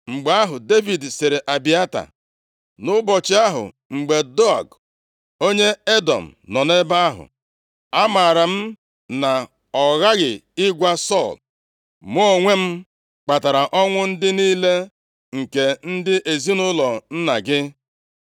Mgbe ahụ, Devid sịrị Abịata, “Nʼụbọchị ahụ, mgbe Doeg onye Edọm nọ nʼebe ahụ, amaara m na ọ ghaghị ịgwa Sọl. Mụ onwe m kpatara ọnwụ ndị niile nke ndị ezinaụlọ nna gị.